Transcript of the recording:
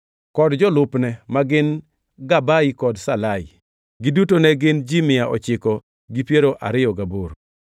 kod jolupne, ma gin Gabai kod Salai. Giduto ne gin ji mia ochiko gi piero ariyo gaboro (928).